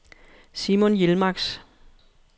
Simon Yilmaz